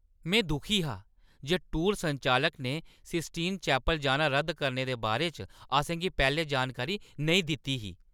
में दुखी हा जे टूर संचालक ने सिस्टीन चैपल जाना रद्द करने दे बारे च असें गी पैह्‌लें जानकारी नेईं दित्ती ही।